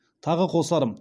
тағы қосарым